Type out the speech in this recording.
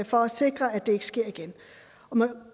for at sikre at det ikke sker igen man